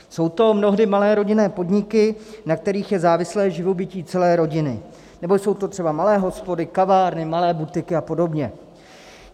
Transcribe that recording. Jsou to mnohdy malé rodinné podniky, na kterých je závislé živobytí celé rodiny, nebo jsou to třeba malé hospody, kavárny, malé butiky a podobně.